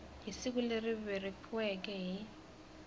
hi siku leri vekiweke hi